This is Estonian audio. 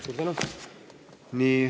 Suur tänu!